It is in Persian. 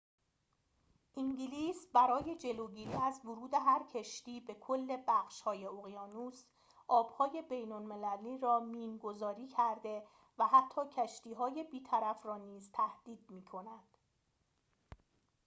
انگلیس برای جلوگیری از ورود هر کشتی به کل بخش های اقیانوس آب های بین المللی را مین گذاری کرده و حتی کشتی‌های بیطرف را نیز تهدید می کند